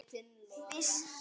Það er enginn á ferli.